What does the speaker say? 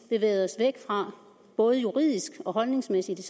bevæget os væk fra både juridisk og holdningsmæssigt